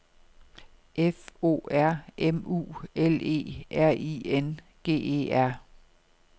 F O R M U L E R I N G E R